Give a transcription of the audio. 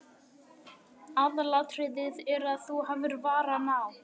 Aðalatriðið er að þú hafir varann á.